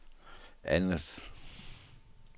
andet